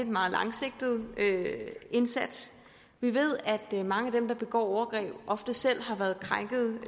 meget langsigtede indsats vi ved at mange af dem der begår overgreb ofte selv